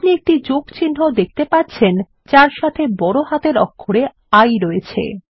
আপনি একটি যোগ চিহ্ন দেখতে পাচ্ছেন যার সাথে বড় হাতের অক্ষরে I রয়েছে